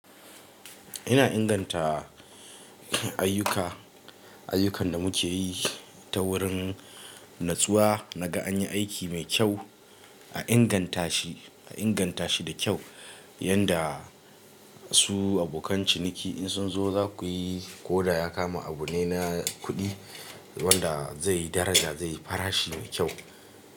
Ina inganta ayyuka, ayyukan da muke yi ta wurin nutsuwa. Naga anyi aiki mai kyau, a inganta shi, a inganta shi da kyau. Yanda su abokan ciniki in sun zo zakuyi ko da ya kama abu ne na kuɗi wanda zai yi daraja, zai fara shi mai kyau.